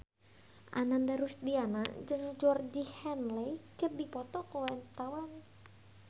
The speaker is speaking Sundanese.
Ananda Rusdiana jeung Georgie Henley keur dipoto ku wartawan